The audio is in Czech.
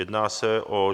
Jedná se o